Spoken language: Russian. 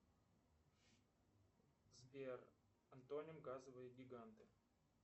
сбер антоним газовые гиганты